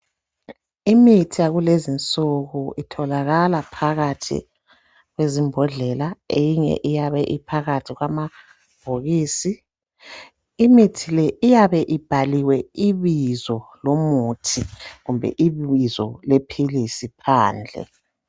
Imithi yakulezinsuku itholakala phakathi kwezimbodlela. Eyinye iyabe iphakathi kwamabhokisi. Imithi le iyabe ibhaliwe ibizo lomuthi kumbe ibizo lephilisi phandle.